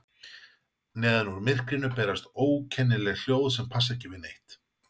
Neðan úr myrkrinu berast ókennileg hljóð sem passa ekki við neitt.